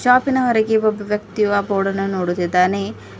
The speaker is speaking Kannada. ಶಾಪಿನ ಹೊರಗೆ ಒಬ್ಬ ವ್ಯಕ್ತಿಯು ಆ ಬೋರ್ಡನ್ನು ನೋಡುತ್ತಿದ್ದಾನೆ.